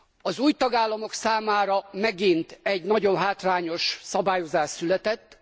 Az új tagállamok számára megint egy nagyon hátrányos szabályozás született.